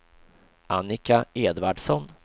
Annika Edvardsson